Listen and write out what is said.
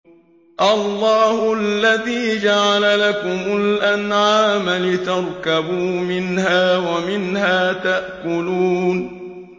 اللَّهُ الَّذِي جَعَلَ لَكُمُ الْأَنْعَامَ لِتَرْكَبُوا مِنْهَا وَمِنْهَا تَأْكُلُونَ